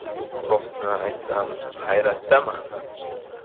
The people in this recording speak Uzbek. Rostini aytsam, hayratdaman.